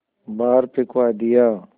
बाहर फिंकवा दिया